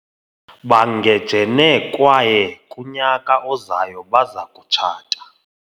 bangejene kwaye kunyaka ozayo baza kutshata